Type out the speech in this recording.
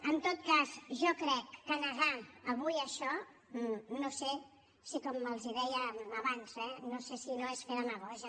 en tot cas jo crec que negar avui això no sé si com els deia abans no és fer demagògia